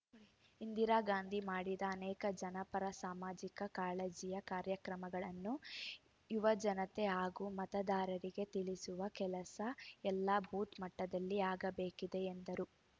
ಇಂದಿರಾಗಾಂಧಿ ಮಾಡಿದ ಅನೇಕ ಜನಪರ ಸಾಮಾಜಿಕ ಕಾಳಜಿಯ ಕಾರ್ಯಕ್ರಮಗಳನ್ನು ಯುವಜನತೆ ಹಾಗೂ ಮತದಾರರಿಗೆ ತಿಳಿಸುವ ಕೆಲಸ ಎಲ್ಲಾ ಬೂತ್ ಮಟ್ಟದಲ್ಲಿ ಆಗಬೇಕಿದೆ ಎಂದರು